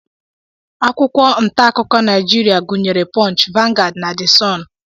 Akwụkwọ ntaakụkọ Naijiria gụnyere punch, vanguard, the sun